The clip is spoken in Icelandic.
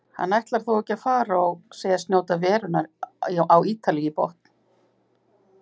Hann ætlar þó ekki að fara og segist njóta verunnar á Ítalíu í botn.